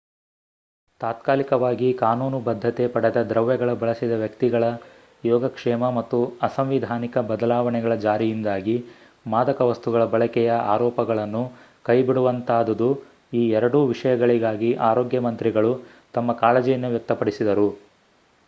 ತಾತ್ಕಾಲಿಕವಾಗಿ ಕಾನೂನುಬದ್ಧತೆ ಪಡೆದ ದ್ರವ್ಯಗಳ ಬಳಸಿದ ವ್ಯಕ್ತಿಗಳ ಯೋಗಕ್ಷೇಮ ಮತ್ತು ಅಸಂವಿಧಾನಿಕ ಬದಲಾವಣೆಗಳ ಜಾರಿಯಿಂದಾಗಿ ಮಾದಕ ವಸ್ತುಗಳ ಬಳಕೆಯ ಅರೋಪಗಳನ್ನು ಕೈಬಿಡುವಂತಾದುದು ಈ ಎರಡೂ ವಿಷಯಗಳಿಗಾಗಿ ಆರೋಗ್ಯ ಮಂತ್ರಿಗಳು ತಮ್ಮ ಕಾಳಜಿಯನ್ನು ವ್ಯಕ್ತಪಡಿಸಿದರು